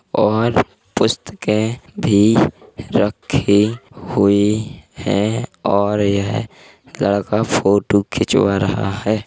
और पुस्तकें भी रखी हुई हैं और यह लड़का फोटो खिंचवा रहा है।